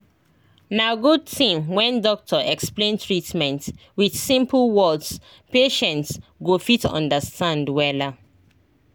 na good thing when doctor explain treatment with simple words patients go fit understand wella